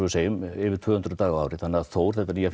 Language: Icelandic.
yfir tvö hundruð daga á ári þannig að Þór þetta nýja